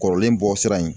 Kɔrɔlen bɔ sira in